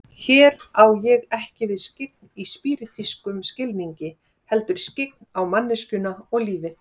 Hér á ég ekki við skyggn í spíritískum skilningi, heldur skyggn á manneskjuna og lífið.